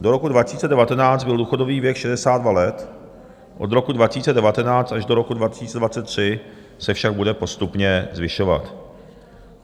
Do roku 2019 byl důchodový věk 62 let, od roku 2019 až do roku 2023 se však bude postupně zvyšovat.